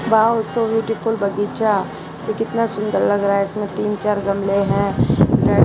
Wow so beautiful बगीचा यह कितना सुंदर लग रहा है इसमें तीन चार गमले हैं।